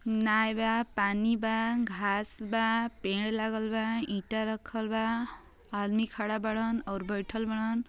नाय बा। पानी बा। घास बा। पेड़ लागल बा। ईंटा रखल बा। आदमी खड़ा बाड़न और बइठल बाड़न।